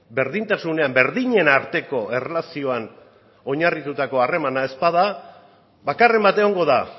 berdintasunean berdinen arteko erlazioan oinarritutako harremana ez bada bakarren bat egongo da